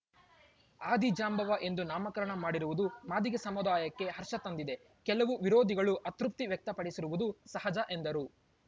ಆದಿಜಾಂಬವ ಎಂದು ನಾಮಕರಣ ಮಾಡಿರುವುದು ಮಾದಿಗ ಸಮುದಾಯಕ್ಕೆ ಹರ್ಷ ತಂದಿದೆ ಕೆಲವು ವಿರೋಧಿಗಳು ಅತೃಪ್ತಿ ವ್ಯಕ್ತಪಡಿಸಿರುವುದು ಸಹಜ ಎಂದರು